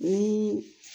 Ni